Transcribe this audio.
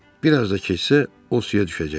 Bir az da keçsə, o suya düşəcəkdi.